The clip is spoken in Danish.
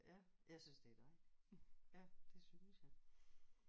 Ja jeg synes det er dejligt. Ja det synes jeg